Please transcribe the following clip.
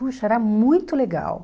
Puxa, era muito legal.